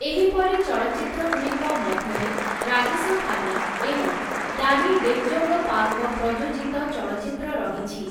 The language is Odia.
ଏହିପରି ଚଳଚ୍ଚିତ୍ରଗୁଡ଼ିକ ମଧ୍ୟରେ ରାଜେଶ ଖାନ୍ନା ଏବଂ ଡାନି ଡେଞ୍ଜୋଙ୍ଗପାଙ୍କ ପ୍ରଯୋଜିତ ଚଳଚ୍ଚିତ୍ର ରହିଛି ।